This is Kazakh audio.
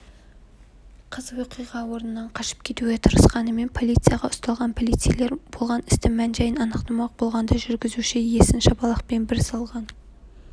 қыз оқиға орнынан қашып кетуге тырысқанымен полицияға ұсталған полицейлер болған істің мән-жайын анықтамақ болғанда жүргізушісі иесін шапалақпен бір салған